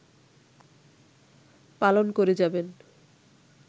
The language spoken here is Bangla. পালন করে যাবেন